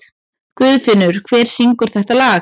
Guðfinnur, hver syngur þetta lag?